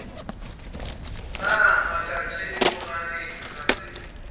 na ngaka thedimogane ga se